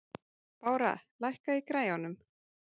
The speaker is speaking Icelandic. Bára, lækkaðu í græjunum.